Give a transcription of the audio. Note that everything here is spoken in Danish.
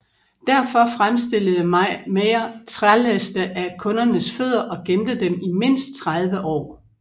Derfor fremstillede Mayr trælæste af kundernes fødder og gemte dem i mindst 30 år